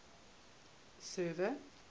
server